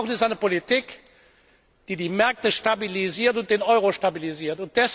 Was wir brauchen, ist eine Politik, die die Märkte stabilisiert und den Euro stabilisiert.